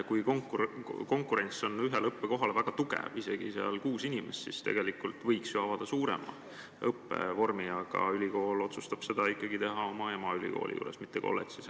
Kui konkurents ühele õppekohale on suur, isegi kuus inimest, siis võiks ju seda õpet laiendada, aga ülikool otsustab seda ikkagi teha emaülikooli juures, mitte kolledžis.